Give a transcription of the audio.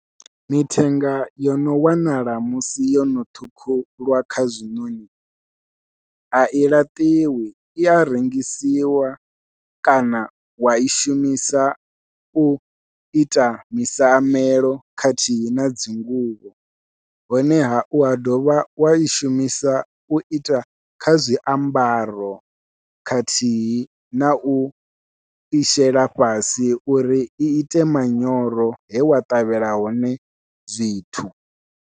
Mithenga yo no wanala musi yono ṱhukhulwa kha zwiṋoṋi a i laṱiwi i a rengisiwa kana wai shumisa u ita misiamelo khathihi na dzinguvho, honeha ua dovha wa shumisa u ita kha zwiambaro khathihi nau i shela fhasi uri i ite manyoro he wa ṱavhela hone zwithu.